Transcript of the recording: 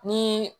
Ni